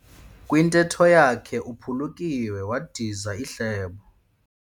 Kwintetho yakhe uphulukiwe wadiza ihlebo.